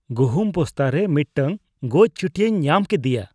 ᱜᱩᱦᱩᱢ ᱵᱚᱥᱛᱟ ᱨᱮ ᱢᱤᱫᱴᱟᱝ ᱜᱚᱡ ᱪᱩᱴᱧᱟᱹᱧ ᱧᱟᱢ ᱠᱤᱫᱤᱭᱟ ᱾